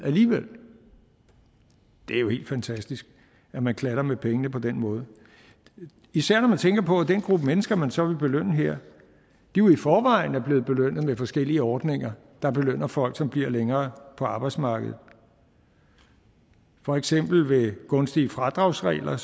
alligevel det er jo helt fantastisk at man klatter med pengene på den måde især når man tænker på at den gruppe mennesker man så vil belønne her jo i forvejen er blevet belønnet med forskellige ordninger der belønner folk som bliver længere på arbejdsmarkedet for eksempel ved gunstige fradragsregler